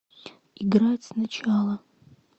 играть сначала